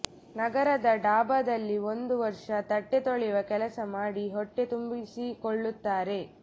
ನಗರದ ಡಾಭಾದಲ್ಲಿ ಒಂದು ವರ್ಷ ತಟ್ಟೆ ತೊಳೆಯುವ ಕೆಲಸ ಮಾಡಿ ಹೊಟ್ಟೆ ತುಂಬಿಸಿಕೊಳ್ಳುತ್ತಾರೆ